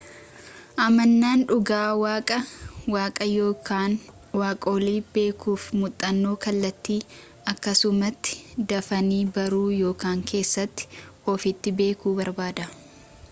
amanaan dhugaa waaqaa/waaqa yookaan waaqolii beekuuf muuxannoo kallattii akkasumatti dafanii baruu yookaan keessa ofiitti beekuu barbaada